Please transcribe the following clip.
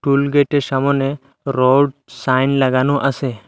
টুল গেটের সামোনে road sign লাগানো আসে।